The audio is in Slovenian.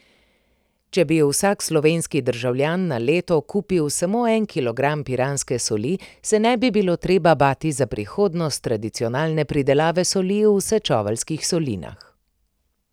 Če bi vsak slovenski državljan na leto kupil samo en kilogram piranske soli, se ne bi bilo treba bati za prihodnost tradicionalne pridelave soli v Sečoveljskih solinah.